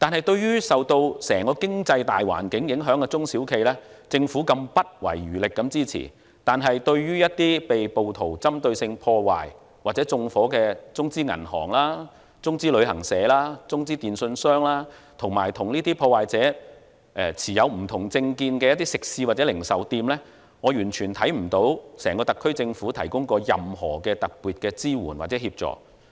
對於受到整個經濟大環境影響的中小企，政府不遺餘力支持，但是，對於一些被暴徒針對性破壞或縱火的中資銀行、中資旅行社、中資電訊商，以及與破壞者持不同政見的食肆或零售店，我完全看不到整個特區政府提供過任何特別的支援或協助。